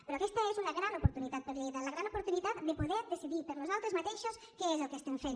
però aquesta és una gran oportunitat per a lleida la gran oportunitat de poder decidir per nosaltres mateixos què és el que estem fent